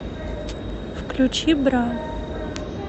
включи бра